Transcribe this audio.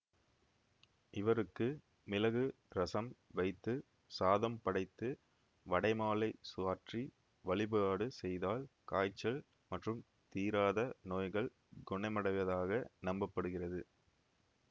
இவருக்கு மிளகு ரசம் வைத்து சாதம் படைத்து வடைமாலை சாற்றி வழிபாடு செய்தால் காய்ச்சல் மற்றும் தீராத நோய்கள் குணமடைவதாக நம்ப படுகிறது